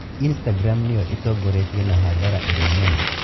Istagram nĩyo itongoretie na hathara ĩrĩa nene